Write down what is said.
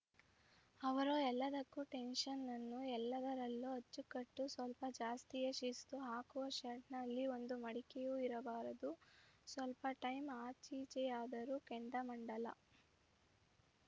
ಅವರೋ ಎಲ್ಲದಕ್ಕೂ ಟೆನ್ಷನ್‌ ಎಲ್ಲದರಲ್ಲೂ ಅಚ್ಚುಕಟ್ಟು ಸ್ವಲ್ಪ ಜಾಸ್ತಿಯೇ ಶಿಸ್ತು ಹಾಕುವ ಶರ್ಟ್‌ನಲ್ಲಿ ಒಂದು ಮಡಿಕೆಯೂ ಇರಬಾರದು ಸ್ವಲ್ಪ ಟೈಮ್‌ ಆಚೀಚೆಯಾದರೂ ಕೆಂಡಾಮಂಡಲ